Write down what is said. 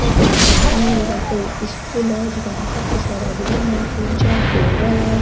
अ कोई भवन है कोई स्कूल है जीका में काफी सारा रूम है तीन चार फ्लावर है।